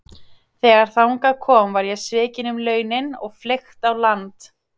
Þegar þangað kom var ég svikinn um launin og fleygt á land.